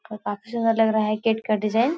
और काफी सूंदर लग रहा है गेट का डिज़ाइन ।